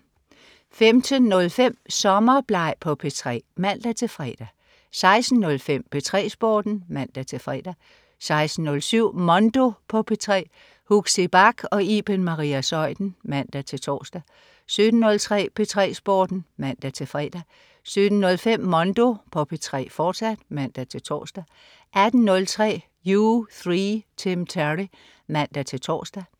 15.05 Sommerbleg på P3 (man-fre) 16.05 P3 Sporten (man-fre) 16.07 Mondo på P3. Huxi Bach og Iben Maria Zeuthen (man-tors) 17.03 P3 Sporten (man-fre) 17.05 Mondo på P3, fortsat (man-tors) 18.03 U3. Tim Terry (man-tors)